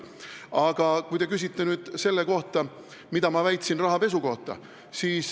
Aga te küsisite, mida ma väitsin rahapesu kohta.